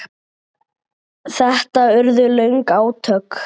Þetta urðu löng átök.